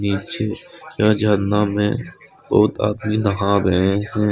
नीचे यह झरना में बहुत आदमी नहा रहे हैं।